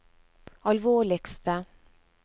alvorligste